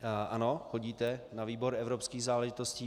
Ano, chodíte na výbor evropských záležitostí.